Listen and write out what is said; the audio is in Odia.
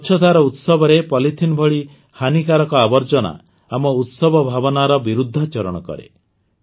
ସ୍ୱଚ୍ଛତାର ଉତ୍ସବରେ ପଲିଥିନ୍ ଭଳି ହାନିକାରକ ଆବର୍ଜନା ଆମ ଉତ୍ସବ ଭାବନାର ବିରୁଦ୍ଧାଚରଣ କରେ